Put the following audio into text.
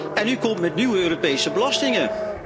En u komt met nieuwe Europese belastingen.